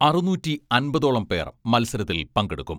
അറുനൂറ്റി അമ്പതോളം പേർ മത്സരത്തിൽ പങ്കെടുക്കും.